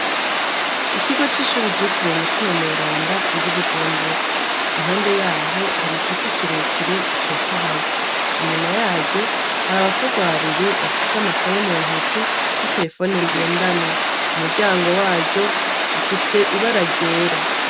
Ikigo c'ishure citeriwe Mutimamweranda riri i Bujumbura. Impande yaho hari igiti kirekire gitotahaye. Inyuma yaryo hari abakobwa babiri bafise amakaye mu ntoki n'iterefone ngendanwa. Umuryango waryo ufise ibara ryera.